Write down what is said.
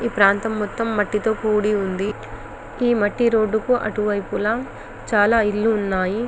ఈ ప్రాంతం మొత్తం మట్టి తో కుడికిపోయి ఉంది ఈ మట్టి రోడ్ కి అటు వైపు చాల ఇల్లు ఉన్నాయి.